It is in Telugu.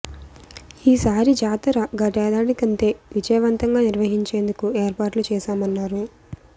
ఈ సారి జాతర గతేడాది కంటే విజయవంతంగా నిర్వహించేందుకు ఏర్పాట్లు చేశామన్నారు